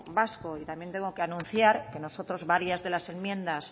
vasco y también tengo que anunciar que nosotros varias de las enmiendas